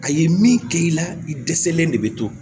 A ye min kɛ i la i dɛsɛlen de bɛ to